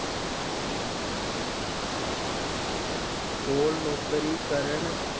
ਕੋਲ ਨੌਕਰੀ ਕਰਨ